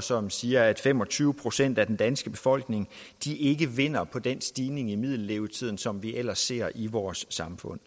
som siger at fem og tyve procent af den danske befolkning ikke vinder på den stigning i middellevetiden som vi ellers ser i vores samfund